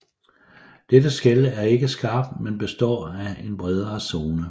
Dette skel er ikke skarpt men består af en bredere zone